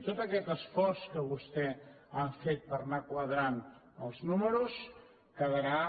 i tot aquest esforç que vostès han fet per anar quadrant els números quedarà